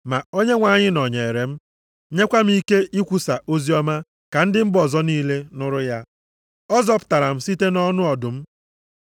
Ma Onyenwe anyị nọnyeere m, nyekwa m ike ikwusa oziọma ka ndị mba ọzọ niile nụrụ ya. Ọ zọpụtara m, site nʼọnụ ọdụm.